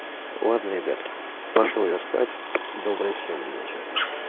ладно ребятки пошёл я спать доброй всем ночи